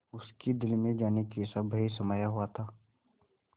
उसके दिल में जाने कैसा भय समाया हुआ था